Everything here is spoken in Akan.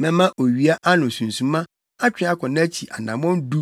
Mɛma owia ano sunsuma atwe akɔ nʼakyi anammɔn du